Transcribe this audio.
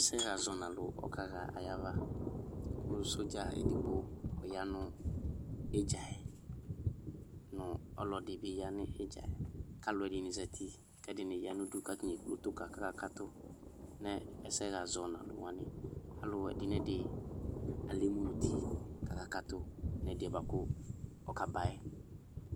Ɔsɛɣa zɔnalu ɔkaɣa ayavaKʋ sɔdza edigbo yanʋ idza yɛNu ɔlɔdi bi ya nʋ idza yɛ Kalu ɛdini zati kɛdini ya nudu katani ekple utu ka kakakatʋ nʋ ɛsɛɣa sɔnalu waniAlu ɛdinɛdi alɛ emu nuti kakakatʋ nɛdiɛ buakʋ ɔkaba yɛ